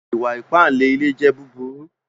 Ìwà-ípànle ilẹ̀ jẹ̀ búbúrù